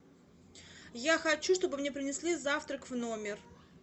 я хочу чтобы мне принесли завтрак в номер